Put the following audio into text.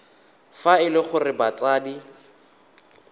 fa e le gore batsadi